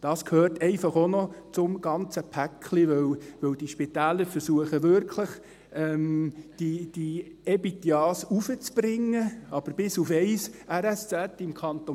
Dies gehört einfach auch noch zum ganzen Paket, denn diese Spitäler versuchen wirklich, die EBITDA hochzubringen, aber bis auf ein RSZ im Kanton